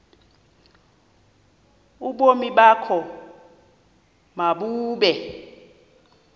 ubomi bakho mabube